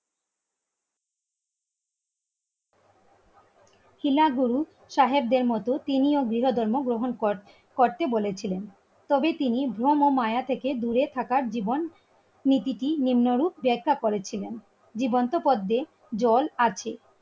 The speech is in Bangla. গুরু সাহেবদের মতো তিনিও গৃহধর্ম গ্রহণ করছেন করতে বলেছিলেন তবে তিনি ভ্রম ও মায়া থেকে দূরে থাকার জীবন নীতিটি নিম্নরূপ দেখা করেছিলেন জীবন্ত পদ্মে জল আছে